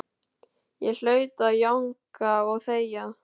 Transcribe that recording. Ég hlaut að jánka og þegja.